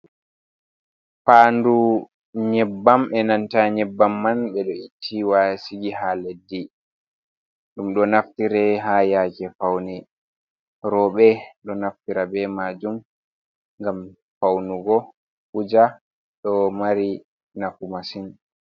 Fandu nyebbam e nanta nyebbam man ɓe ɗo itti sigi ha leddi. Ɗum ɗo naftire ha yake faune robe ɗo naftira be majum gam faunugo wuja. Ɗo mari nafu masin